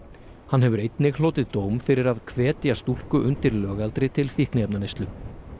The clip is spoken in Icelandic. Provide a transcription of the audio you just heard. hann hefur einnig hlotið dóm fyrir að hvetja stúlku undir lögaldri til fíkniefnaneyslu